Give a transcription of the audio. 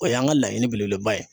O y'an ka laɲini belebeleba ye